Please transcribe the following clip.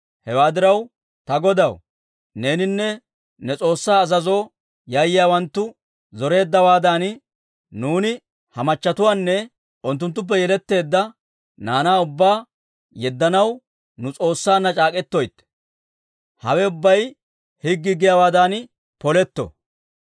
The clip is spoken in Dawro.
Hewaa diraw ta godaw, neeninne nu S'oossaa azazoo yayyiyaawanttu zoreeddawaadan nuuni ha machatuwaanne unttuttuppe yeletteedda naanaa ubbaa yeddanaw nu S'oossaanna c'aak'k'etoytte. Hawe ubbay higgii giyaawaadan poletto.